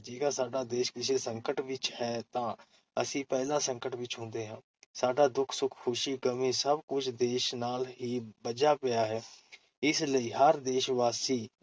ਜੇਕਰ ਸਾਡਾ ਦੇਸ ਕਿਸੇ ਸੰਕਟ ਵਿਚ ਹੈ, ਤਾਂ ਅਸੀਂ ਪਹਿਲਾਂ ਸੰਕਟ ਵਿਚ ਹੁੰਦੇ ਹਾਂ । ਸਾਡਾ ਦੁੱਖ-ਸੁੱਖ, ਖ਼ੁਸ਼ੀ, ਗ਼ਮੀ ਸਭ ਕੁੱਝ ਦੇਸ ਨਾਲ ਹੀ ਬੱਝਾ ਪਿਆ ਹੈ । ਇਸ ਲਈ ਹਰ ਦੇਸ਼-ਵਾਸੀ